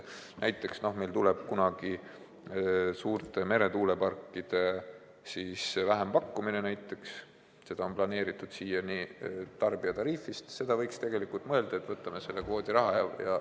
Meil tuleb kunagi suurte meretuuleparkide vähempakkumine, nende ehitamist on siiani planeeritud rahastada tarbijatariifist, aga võiks mõelda, et rahastame seda kvoodirahast.